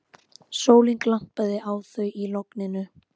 Sólin glampaði á þau í logninu.